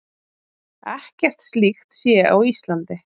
Ekkert slíkt sé á Íslandi.